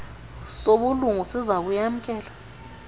sobulungu siza kuyamkela